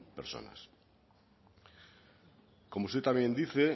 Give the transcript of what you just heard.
personas como usted también dice